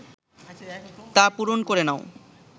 তা পূরণ করে নাও